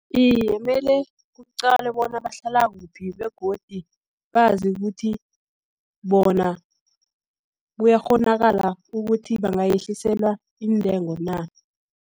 Iye, mele kuqalwe bona bahlala kuphi, begodi bazi ukuthi bona kuyakghonakala ukuthi, bangayehliselwa iintengo na.